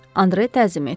Andre təzim etdi.